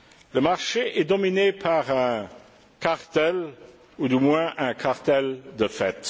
Le marché est dominé par un cartel, ou du moins un cartel de fait.